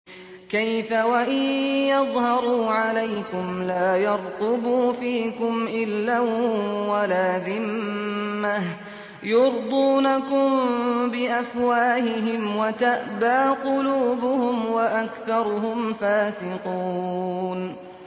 كَيْفَ وَإِن يَظْهَرُوا عَلَيْكُمْ لَا يَرْقُبُوا فِيكُمْ إِلًّا وَلَا ذِمَّةً ۚ يُرْضُونَكُم بِأَفْوَاهِهِمْ وَتَأْبَىٰ قُلُوبُهُمْ وَأَكْثَرُهُمْ فَاسِقُونَ